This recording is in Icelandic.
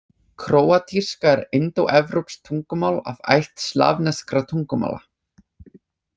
Króatíska er indóevrópskt tungumál af ætt slavneskra tungumála.